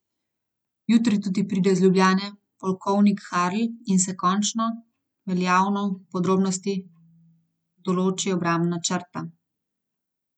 Jutri tudi pride iz Ljubljane polkovnik Harl in se končno veljavno v podrobnosti določi obrambna črta.